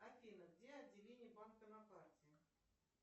афина где отделение банка на карте